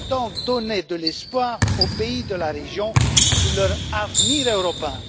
Il faut donc donner de l'espoir aux pays de la région sur leur avenir européen.